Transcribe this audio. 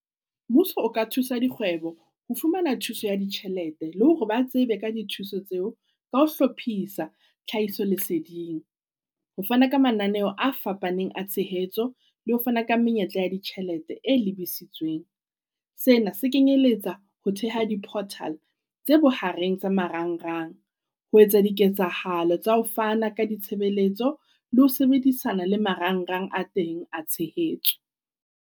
Mmuso o ka thusa dikgwebo ho fumana thuso ya ditjhelete, le hore ba tsebe ka dithuso tseo ka ho hlophisa tlhahiso leseding. Ho fana ka mananeo a fapaneng a tshehetso le ho fana ka menyetla ya ditjhelete e lebisitsweng. Sena se kenyeletsa ho theha di-portal tse bohareng tsa marangrang ho etsa diketsahalo tsa ho fana ka ditshebeletso le ho sebedisana le marangrang a teng a tshehetso.